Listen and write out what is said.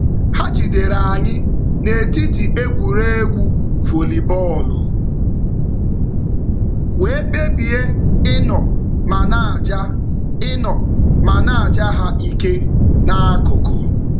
Ha jidere anyị n'etiti egwuregwu vollybọọlụ wee kpebie ịnọ ma na-aja ịnọ ma na-aja ha ike n'akụkụ.